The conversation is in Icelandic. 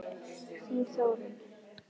Þín Þórunn.